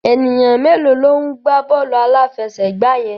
Ènìyàn mélòó ló ń gbá bọ́ọ̀lù aláfẹsẹ̀gbá yẹn?